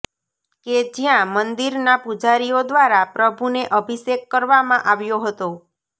કે જ્યાં મંદિરના પૂજારીઓ દ્વારા પ્રભુને અભિષેક કરવામાં આવ્યો હતો